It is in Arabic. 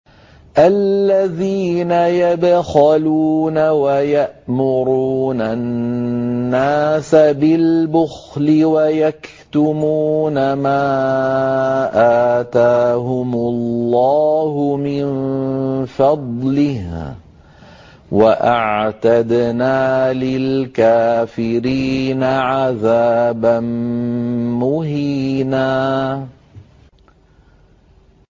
الَّذِينَ يَبْخَلُونَ وَيَأْمُرُونَ النَّاسَ بِالْبُخْلِ وَيَكْتُمُونَ مَا آتَاهُمُ اللَّهُ مِن فَضْلِهِ ۗ وَأَعْتَدْنَا لِلْكَافِرِينَ عَذَابًا مُّهِينًا